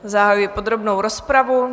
Zahajuji podrobnou rozpravu.